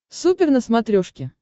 супер на смотрешке